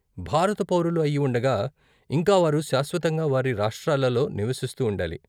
భారత పౌరులు అయి ఉండగా, ఇంకా వారు శాశ్వతంగా వారి రాష్ట్రాలలో నివసిస్తూ ఉండాలి.